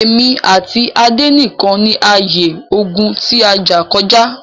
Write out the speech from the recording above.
Èmi àti Adé nìkan ni a ye ogún ti a jà kọjá.